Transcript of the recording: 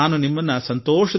ಅಲ್ಲಿ ನೀವು ಕೆಲಸ ಮಾಡಿದ್ದೀರಿ